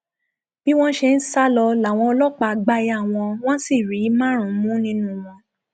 bí wọn ṣe ń sá lọ làwọn ọlọpàá gbá yá wọn wọn sì rí márùnún mú nínú wọn